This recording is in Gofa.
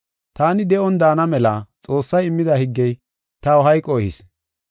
Taani de7on daana mela Xoossay immida higgey taw hayqo ehis.